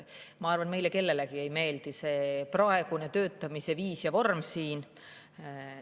Ma arvan, et meile kellelegi ei meeldi see praegune töötamise viis ja vorm siin.